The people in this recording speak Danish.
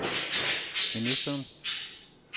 ministeren